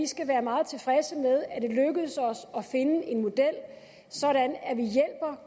skal være meget tilfredse med at det lykkedes os at finde en model sådan at vi